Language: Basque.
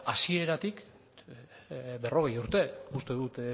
hasieratik berrogei urte uste dut